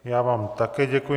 Já vám také děkuji.